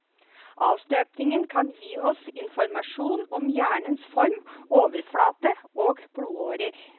Avstøpningen kan gi oss informasjon om hjernens form, overflate og blodårer.